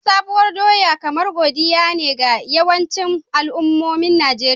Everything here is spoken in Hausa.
Bikin Sabuwar doya kamar Godiya ne ga yawancin al'ummomin Najeriya.